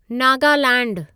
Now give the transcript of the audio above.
नगालैंडु